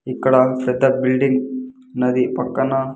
ఇక్కడ పెద్ద బిల్డింగ్ ఉన్నది పక్కన.